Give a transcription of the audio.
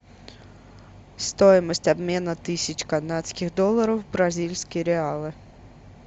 стоимость обмена тысяч канадских долларов в бразильские реалы